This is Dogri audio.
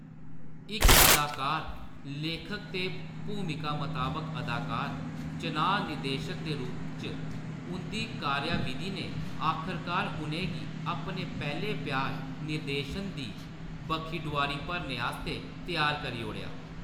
इक अदाकार, लेखक ते भूमिका मताबक अदाकार चनांऽ निर्देशक दे रूप च उंʼदी कार्यावधि ने आखरकार उʼनें गी अपने पैह्‌‌‌ले प्यार निर्देशन दी बक्खी डोआरी भरने आस्तै त्यार करी ओड़ेआ।